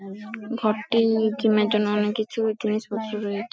ঘরটি-ই কেনার জন্য অনেক কিছু জিনিসপত্র রয়ে--